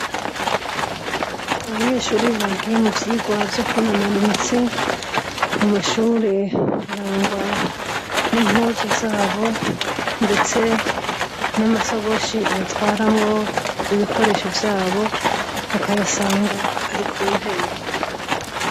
Abanyeshuri bagiye mu vyigwa vyo kwinonora imitsi mu mashure harangwa n'impuzu zabo ndetse n'amasagoshi batwaramwo ibikoresho vyabo bakayasanga ari ku ntebe.